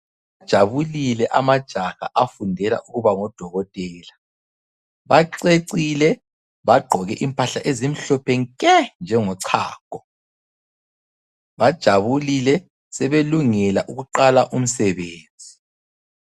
Ajabulile amajaha afundela ukuba ngodokotela. Bacecile bagqoke impahla ezimhlophe nke njengo chago. Bajabulile sebelungela ukuqala umsebenzi.